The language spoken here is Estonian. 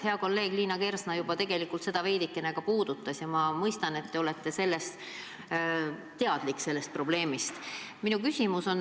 Hea kolleeg Liina Kersna juba puudutas seda teemat ja ma mõistan, et te olete sellest probleemist teadlik.